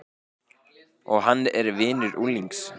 Og hann er vinur unglings.